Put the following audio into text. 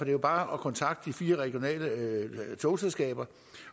er jo bare at kontakte de fire regionale togselskaber